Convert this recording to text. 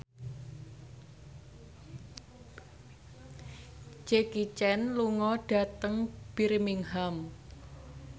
Jackie Chan lunga dhateng Birmingham